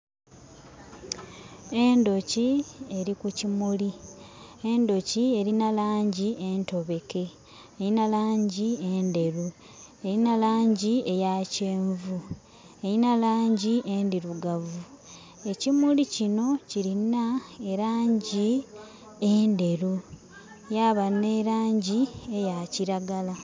Endhoki eli kukimuli. Endhoki elina laangi entobeke. Elina laangi endheru, elina laangi eyakyeenvu, elina laangi endhirugavu. Ekimuli kino kilina elaangi endheru, yaaba n'elaangi eyakiragala.